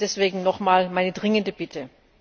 Deswegen nochmal meine dringende Bitte.